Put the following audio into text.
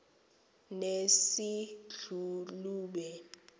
nesedlulube